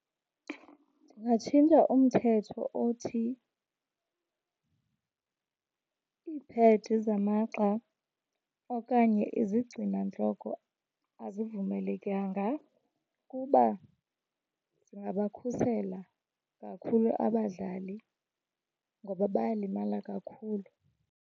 Ndingatshintsha umthetho othi iiphedi zamagxa okanye izigcinantloko azivumelekanga kuba zingabakhusela kakhulu abadlali ngoba bayalimala kakhulu.